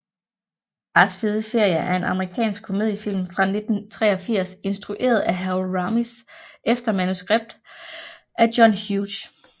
Fars fede ferie er en amerikansk komediefilm fra 1983 instrueret af Harold Ramis efter manuskript af John Hughes